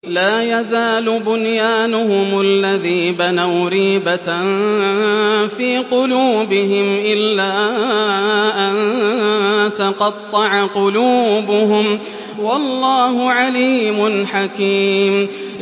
لَا يَزَالُ بُنْيَانُهُمُ الَّذِي بَنَوْا رِيبَةً فِي قُلُوبِهِمْ إِلَّا أَن تَقَطَّعَ قُلُوبُهُمْ ۗ وَاللَّهُ عَلِيمٌ حَكِيمٌ